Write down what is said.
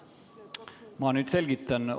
Ma nüüd selgitan.